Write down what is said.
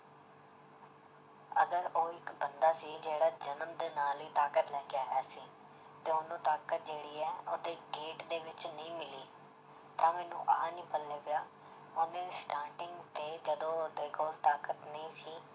ਅਗਰ ਉਹ ਇੱਕ ਬੰਦਾ ਸੀ ਜਿਹੜਾ ਜਨਮ ਦੇ ਨਾਲ ਹੀ ਤਾਕਤ ਲੈ ਕੇ ਆਇਆ ਸੀ ਤੇ ਉਹਨੂੰ ਤਾਕਤ ਜਿਹੜੀ ਹੈ ਉਹਦੇ gate ਦੇ ਵਿੱਚ ਨਹੀਂ ਮਿਲੀ ਤਾਂ ਮੈਨੂੰ ਆਹ ਨੀ ਪੱਲੇ ਪਿਆ ਉਹਨੇ starting ਤੇ ਜਦੋਂ ਉਹਦੇ ਕੋਲ ਤਾਕਤ ਨਹੀਂ ਸੀ